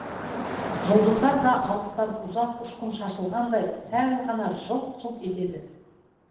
жүлдыздар да алыстан ұзақ үшқын шашылғандай сәл ғана жылт жылт етеді